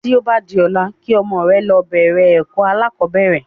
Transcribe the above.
Tí o ba di ọ̀la kí ọmọ rẹ lọ bẹ̀rẹ̀ ẹ̀kọ́ alákọ̀bẹ́rẹ̀